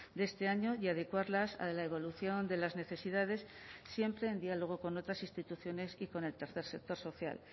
de este año y adecuarlas a la evolución de las necesidades siempre en diálogo con otras instituciones y con el tercer sector social